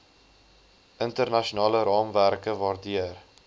internasionale raamwerke waardeur